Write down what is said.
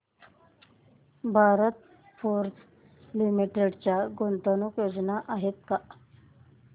Bharat Forge limited च्या गुंतवणूक योजना आहेत का